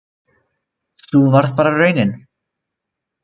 Sú varð bara raunin